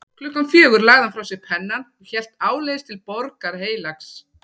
Klukkan fjögur lagði hann frá sér pennann og hélt áleiðis til Borgar Heilags